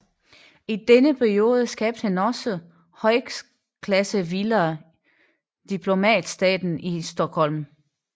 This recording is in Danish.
I denne periode skabte han også to højklassevillaer i Diplomatstaden i Stockholm